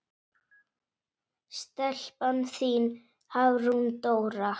Stelpan þín, Hafrún Dóra.